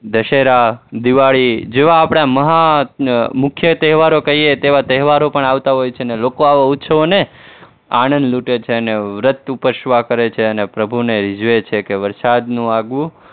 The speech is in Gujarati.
દશેરા, દિવાળી જેવા આપણા મહા, મુખ્ય તહેવારો કહીયે તેવા તહેવારો પણ આવતા હોય છે, અને લોકો આવા ઉત્સવોને આનંદ લૂંટે છે અને વ્રત ઉપવાસ કરે છે અને પ્રભુને રીઝવે છે કે વરસાદનું આગવું